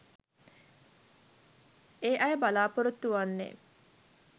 ඒ අය බලාපොරොත්තු වන්නේ